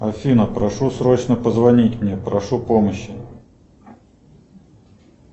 афина прошу срочно позвонить мне прошу помощи